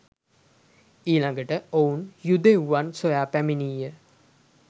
ඊළගට ඔවුන් යුදෙව්වන් සොයා පැමිණිය